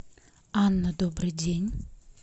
анна добрый день